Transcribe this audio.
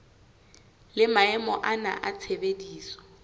le maemo ana a tshebediso